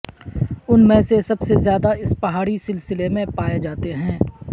ان میں سے سب سے زیادہ اس پہاڑی سلسلے میں پائے جاتے ہیں